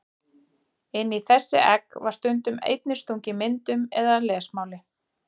Inn í þessi egg var stundum einnig stungið myndum eða lesmáli.